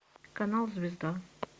канал звезда